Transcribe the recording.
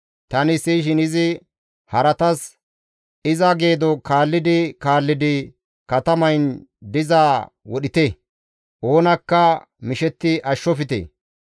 Tani siyishin izi haratas, «Iza geedo kaallidi kaallidi katamayn dizaa wodhite! Oonakka mishetti ashshofte.